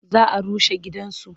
Za a rushe gidansu.